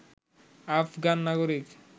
আফগান নাগরিক